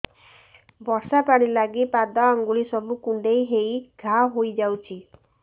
ବର୍ଷା ପାଣି ଲାଗି ପାଦ ଅଙ୍ଗୁଳି ସବୁ କୁଣ୍ଡେଇ ହେଇ ଘା ହୋଇଯାଉଛି